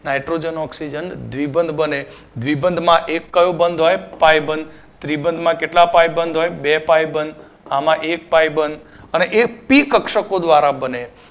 naitrogen oxygen દ્વિબંધ બને દ્વિબંધ માં એક કયો બંધ હોય પાઇ બંધ ત્રિબંધ માં કેટલા પાઇ બંધ હોય બે પાઇ બંધ આમાં એક પાઇ બંધ અને એ પી કક્ષકો દ્વારા બને